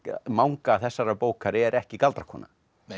manga þessarar bókar er ekki galdrakona